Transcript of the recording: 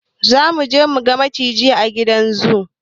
Zamuje muga maciji a gidan zu